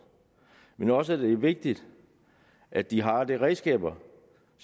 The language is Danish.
men også at det er vigtigt at de har redskaberne